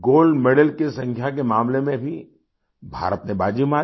Gold medal की संख्या के मामले में भी भारत ने बाजी मारी